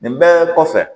Nin bɛɛ kɔfɛ